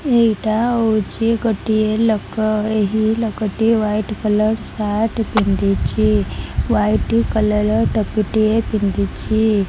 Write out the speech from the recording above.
ଏଇଟା ହଉଚି ଗୋଟିଏ ଲୋକ ଏହି ଲୋକଟି ହୋଆଇଟ୍ କଲର୍ ସାର୍ଟ ପିନ୍ଧିଚି ହୋଆଇଟ୍ କଲର୍ ର ଟୋପି ଟିଏ ପିନ୍ଧିଛି।